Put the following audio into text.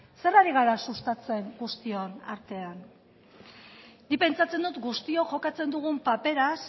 zer ari gara sustatzen guztion artean nik pentsatzen dut guztiok jokatzen dugun paperaz